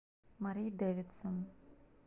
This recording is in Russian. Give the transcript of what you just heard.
мари дэвидсон